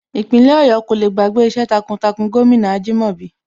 Ìpínlẹ̀ Ọ̀yọ́ kò le gbàgbé iṣẹ́ takuntakun gómìnà Ajìmọ́bi